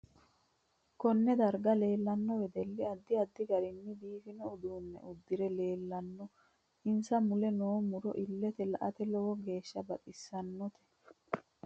Konne darga leelanno wedelli addi addi garinni biifino uduune uddire leelanno insa mule noo muro illelte la'ate lowo geesha baxisannote